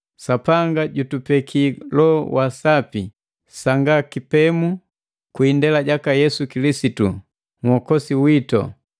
Sapanga jutupekia Loho wa Sapi sanga kipemu kwii indela jaka Yesu Kilisitu, Nhokozi witu,